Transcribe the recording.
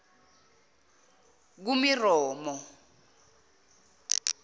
kumeromo